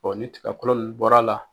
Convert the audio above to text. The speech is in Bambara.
ni tigakɔlɔ nun bɔr'a la